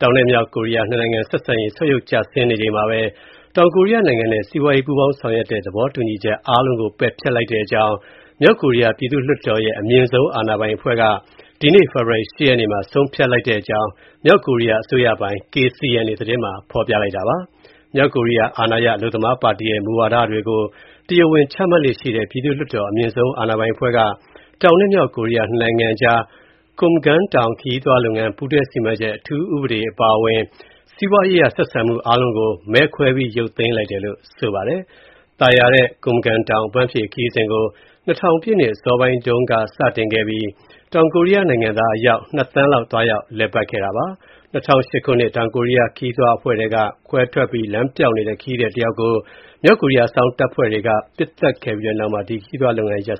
တောင်နဲ့ မြောက်ကိုရီးယား နှစ်နိုင်ငံ ဆက်ဆံရေး ဆုတ်ယုတ်ကျဆင်းနေချိန်မှာပဲ တောင်ကိုရီးယားနိုင်ငံနဲ့ စီးပွားရေး ပူးပေါင်းဆောင်ရွက်တဲ့ သဘောတူညီချက် အားလုံးကို ပယ်ဖျက်လိုက်တဲ့အကြောင်း မြောက်ကိုရီးယား ပြည်သူ့ လွှတ်တော်ရဲ့ အမြင့်ဆုံး အာဏာပိုင်အဖွဲ့က ဒီကနေ့ ဖေဖော်ဝါရီ ၈ ရက်နေ့မှာ ဆုံးဖြတ်လိုက်တဲ့အကြောင်း မြောက်ကိုရီးယား အစိုးရပိုင် KCNA သတင်းမှာ ဖော်ပြပါတယ်။ မြောက်ကိုရီးယား အာဏာရ အလုပ်သမားပါတီရဲ့ မူဝါဒတွေကို တရားဝင်ချမှတ်လေ့ရှိတဲ့ ပြည်သူ့လွှတ်တော် အမြင့်ဆုံး အာဏာပိုင်အဖွဲ့က တောင်နဲ့ မြောက်ကိုရီးယားနှစ်နိုင်ငံအကြား Kumgang တောင် ခရီးသွားလုပ်ငန်း ပူးတွဲ စီမံချက် အထူးဥပဒေ အပါအဝင် စီးပွားရေးအရ ဆက်ဆံမှု အားလုံးကို မဲခွဲပြီး ရုတ်သိမ်းလိုက်တယ်လို့ ဆိုပါတယ်။ သာယာတဲ့ Kumgang တောင် အပန်းဖြေ ခရီးစဉ်ကို ၂၀၀၀ ပြည့်နှစ် အစောပိုင်းတုန်းက စတင်ခဲ့ပြီး တောင်ကိုရီးယားနိုင်ငံသား အယောက် ၂ သန်းလောက် သွားရောက် လည်ပတ်ခဲ့တာပါ။ ၂၀၀၈ ခုနှစ်က တောင်ကိုရီးယား ခရီးသွားအဖွဲ့ထဲက ကွဲထွက်ပြီး လမ်းပျောက်နေတဲ့ ခရီးသည်တယောက်ကို မြောက်ကိုရီးယား အစောင့်တပ်ဖွဲ့ဝင်တွေက ပစ်သတ်ခဲ့ပြီးနောက်မှာ ဒီခရီးသွားလုပ်ငန်းက